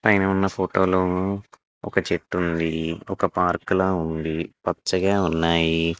పైన ఉన్న ఫోటో లో ఒక చెట్టు ఉంది. ఒక పార్క్ లా ఉంది. పచ్చగా ఉన్నాయి.